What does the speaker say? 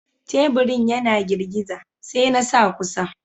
Taburin yana girgiza, sai na sa kusa.